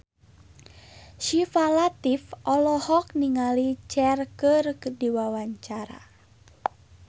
Syifa Latief olohok ningali Cher keur diwawancara